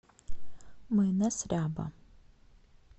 майонез ряба